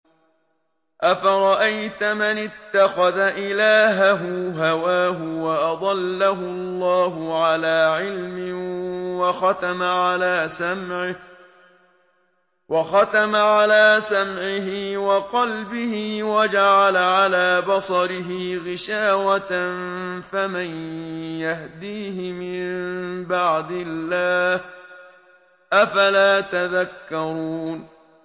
أَفَرَأَيْتَ مَنِ اتَّخَذَ إِلَٰهَهُ هَوَاهُ وَأَضَلَّهُ اللَّهُ عَلَىٰ عِلْمٍ وَخَتَمَ عَلَىٰ سَمْعِهِ وَقَلْبِهِ وَجَعَلَ عَلَىٰ بَصَرِهِ غِشَاوَةً فَمَن يَهْدِيهِ مِن بَعْدِ اللَّهِ ۚ أَفَلَا تَذَكَّرُونَ